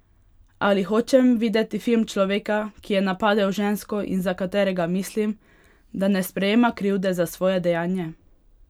Ali hočem videti film človeka, ki je napadel žensko in za katerega mislim, da ne sprejema krivde za svoje dejanje?